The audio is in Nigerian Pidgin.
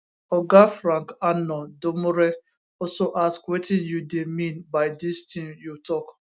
oga frank annor domoreh also ask wetin you dey mean by dis tin you tok